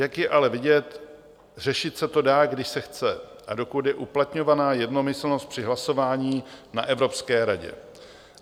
Jak je ale vidět, řešit se to dá, když se chce a dokud je uplatňována jednomyslnost při hlasování na Evropské radě.